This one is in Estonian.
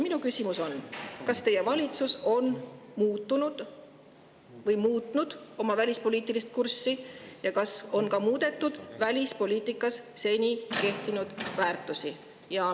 Minu küsimus on: kas teie valitsus on muutnud oma välispoliitilist kurssi ja kas on ka muutunud välispoliitikas seni kehtinud väärtused?